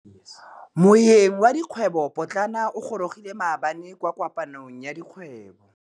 Moêng wa dikgwêbô pôtlana o gorogile maabane kwa kopanong ya dikgwêbô.